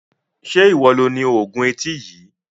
Se iwọ lo ní oògùn etí yìí?